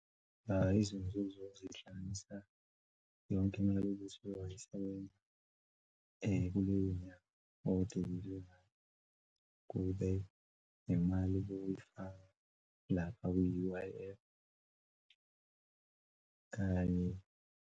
Izinzuzo zihlanganisa yonke imali yokuthi wayisebenza kuleyo nyanga kube nemali bowuyifaka lapha kwi-U_I_F kanye.